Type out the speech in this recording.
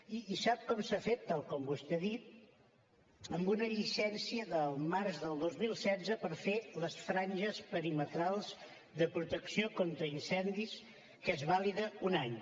i sap com s’ha fet tal com vostè ha dit amb una llicència del març del dos mil setze per fer les franges perimetrals de protecció contra incendis que és vàlida un any